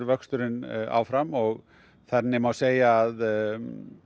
vöxturinn áfram og þannig má segja að